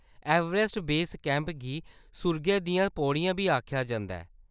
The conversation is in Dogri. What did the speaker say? एवरेस्ट बेस कैंप गी सुर्गै दियां पौड़ियां बी आखेआ जंदा ऐ।